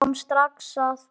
Við sjáum strax að